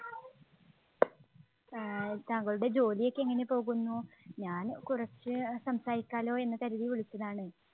ആഹ് താങ്കളുടെ ജോലിയൊക്കെ എങ്ങനെ പോകുന്നു? ഞാൻ കുറച്ച് സംസാരിക്കാല്ലോ എന്നു കരുതി വിളിച്ചതാണ്.